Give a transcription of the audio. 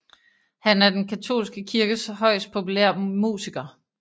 Han er den katolske kirkes højst populær musiker